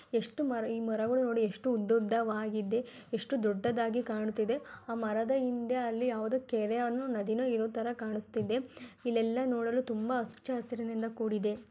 ಎಷ್ಟು ಮರ ಈ ಮರಗಳು ಎಷ್ಟು ಉದ್ದುದ್ದವಾಗಿದೆ ಎಷ್ಟು ದೊಡ್ಡದಾಗಿ ಕಾಣುತಿದೆ. ಆ ಮರದ ಹಿಂದೆ ಅಲ್ಲಿ ಯಾವುದೊ ಅಲ್ಲಿ ಕೆರೆನೊ ನದಿನೋ ಇರೋತರ ಕಾಣುಸ್ತಿದೆ. ನೋಡಿ ಇಲ್ಲಿ ಎಲ್ಲ ನೋಡಲು ಹಚ್ಚ ಹಸಿರಿನಿಂದ ಕೂಡಿದೆ. .